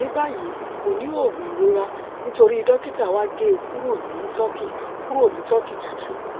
ní báyìí kò ní òògùn ìrora nítorí dókítà wa gé e kúrò ní turkey kúrò ní turkey tútù